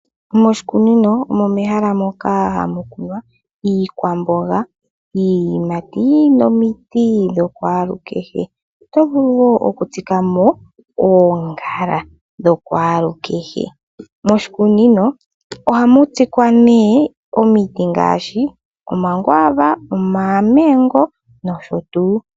Moshikunino omo mehala moka hamu kunwa iikwamboga, iiyimati nomiti dhokwaalu kehe. Oto vulu woo oku tsika mo oongala dha kwaalukehe. Moshikunino ohamu tsikwa nee omiti ngaashi Omakwaava, Omamengo nosho tuu.